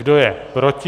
Kdo je proti?